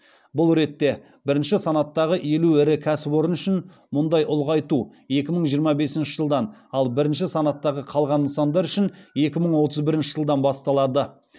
бұл ретте бірінші санаттағы елу ірі кәсіпорын үшін мұндай ұлғайту екі мың жиырма бесінші жылдан ал бірінші санаттағы қалған нысандар үшін екі мың отыз бірінші жылдан басталады